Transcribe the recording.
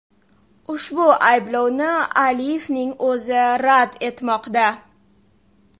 Ushbu ayblovni Aliyevning o‘zi rad etmoqda.